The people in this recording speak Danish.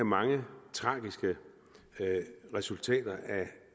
mange tragiske resultater